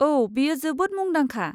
औ, बेयो जोबोद मुंदांखा।